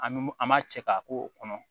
An bɛ mun an m'a cɛ k'a k'o kɔnɔ